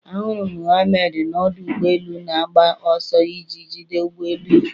Ahụrụ m Mohammad n'ọdụ ụgbọ elu na-agba ọsọ iji jide ụgbọ elu ya